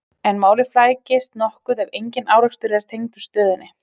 en málið flækist nokkuð ef engin rekstur er tengdur stöðinni